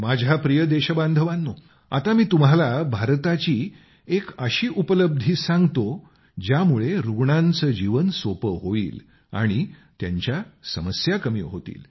माझ्या प्रिय देशबांधवांनो आता मी तुम्हाला भारताची एक अशी उपलब्धी सांगतो ज्यामुळे रुग्णांचे जीवन सोपे होईल आणि त्यांच्या समस्या कमी होतील